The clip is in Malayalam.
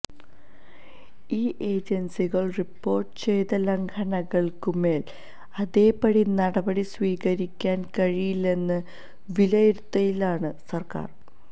ഇൌ ഏജൻസികൾ റിപ്പോർട്ട് ചെയ്ത ലംഘനങ്ങൾക്കുമേൽ അതേപടി നടപടി സ്വീകരിക്കാൻ കഴിയില്ലെന്ന വിലയിരുത്തലിലാണ് സർക്കാർ